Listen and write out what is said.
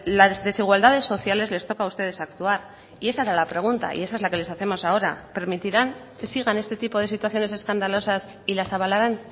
las desigualdades sociales les toca a ustedes actuar y esa era la pregunta y esa es la que les hacemos ahora permitirán que sigan este tipo de situaciones escandalosas y las avalarán